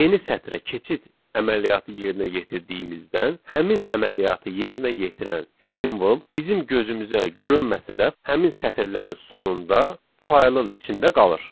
Yeni sətrə keçid əməliyyatı yerinə yetirdiyimizdən, həmin əməliyyatı yerinə yetirən simvol bizim gözümüzə görünməsə də, həmin sətirlərin sonunda faylın içində qalır.